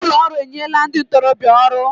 Ụlọ ọrụ enyela ndị ntorobịa ọrụ